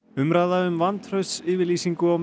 umræða um vantraustsyfirlýsingu á